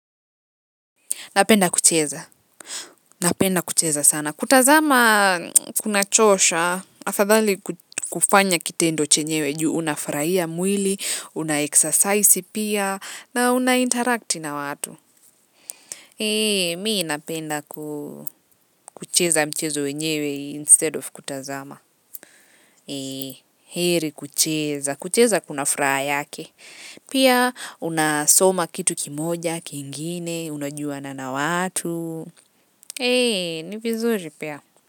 Napenda kucheza. Napenda kucheza sana. Kutazama kunachosha, afadhali kufanya kitendo chenyewe juu, unafurahia mwili, una exercise pia, na una interact na watu. Eeeh mi napenda kucheza mchezo wenyewe instead of kutazama. Heri kucheza, kucheza kuna furaha yake. Pia, unasoma kitu kimoja, kingine, unajuana na watu. Ni vizuri pia.